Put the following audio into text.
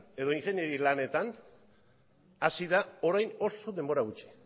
edo ingeniari lanetan hasi da orain oso denbora gutxi